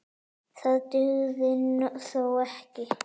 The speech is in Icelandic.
Það dugði þó ekki.